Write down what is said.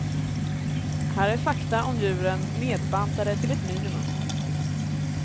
Här är fakta om djuren nedbantade till ett minimum.